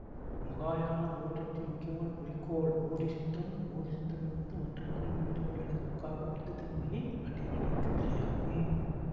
மகாயான பௌத்தத்தின் முக்கியமான குறிக்கோள் போதிசித்தம் போதிசித்தம் என்பது மற்ற உயிர்கள் வீடுபேறு அடைவதற்காகப் புத்ததன்மையை அடைய நினைக்கும் நிலை ஆகும்